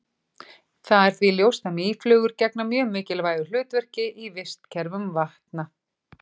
Það er því ljóst að mýflugur gegna mjög mikilvægu hlutverki í vistkerfum vatna.